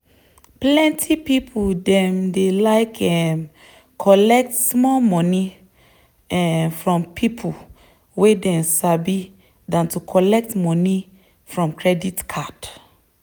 plenty people dem dey like um collect small moni um from people wey dem sabi than to collect moni from credit card.